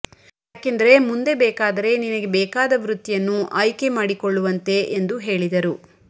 ಯಾಕೆಂದರೆ ಮುಂದೆ ಬೇಕಾದರೆ ನಿನಗೆ ಬೇಕಾದ ವೃತ್ತಿಯನ್ನು ಆಯ್ದಕೆ ಮಾಡಿಕೊಳ್ಳುವಂತೆ ಎಂದು ಹೇಳಿದರುಇ